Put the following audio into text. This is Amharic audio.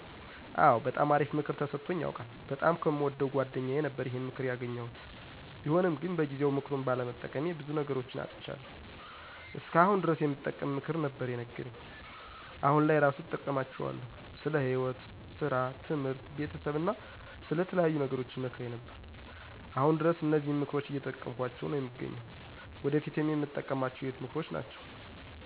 አወ! በጣም አሪፍ ምክር ተሰጦኝ ያውቃል። በጣም ከየምወደው ጓደኛየ ነበረ ይሄን ምክር ያገኘሁት። ቢሆንም ግን በጊዜው ምክሩን ባለመጠቀሜ በዙ ነገሮች አጥቻለሁ። እስከ አሁን ድረስ የሚጠቅም ምክር ነበር የነገረኝ። አሁን ላይ እራሱ እጠቀማቸዋለሁ። ስለ ህይወት፣ ሰራ፣ ትምህርት፣ ቤተሰብ አና ስለተለያዩ ነገሮች ይመክረኝ ነበር። አሁን ድረስ እነዚህን ምክሮች እየተጠቀምኳቸው ነው የምገኘው። ወደፊትም የምጠቀማቸው የህይወት ምክሮች ናቸው።